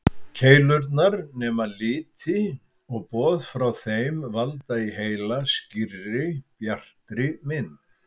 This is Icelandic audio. Keilurnar nema liti og boð frá þeim valda í heila skýrri, bjartri mynd.